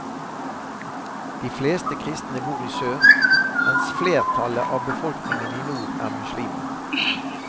De fleste kristne bor i sør, mens flertallet av befolkningen i nord er muslimer.